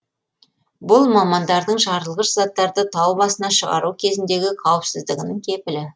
бұл мамандардың жарылғыш заттарды тау басына шығару кезіндегі қауіпсіздігінің кепілі